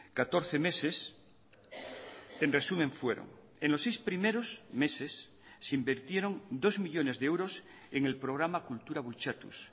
catorce meses en resumen fueron en los seis primeros meses se invirtieron dos millónes de euros en el programa kultura bultzatuz